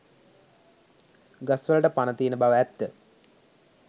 ගස් වලට පණ තියෙන බව ඇත්ත